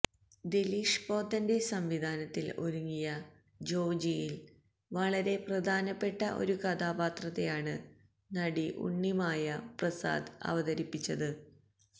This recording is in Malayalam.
ദിലീഷ് പോത്തന്റെ സംവിധാനത്തിൽ ഒരുങ്ങിയ ജോജിയിൽ വളരെ പ്രധാനമായ ഒരു കഥാപാത്രത്തെയാണ് നടി ഉണ്ണിമായ പ്രസാദ് അവതരിപ്പിച്ചത്